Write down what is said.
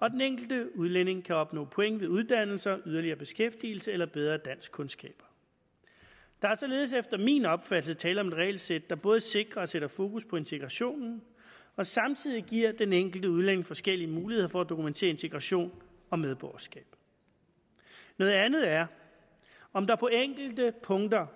og den enkelte udlænding kan opnå point ved uddannelse yderligere beskæftigelse eller bedre danskkundskaber der er således efter min opfattelse tale om et regelsæt der både sikrer og sætter fokus på integrationen og samtidig giver den enkelte udlænding forskellige muligheder for at dokumentere integration og medborgerskab noget andet er om der på enkelte punkter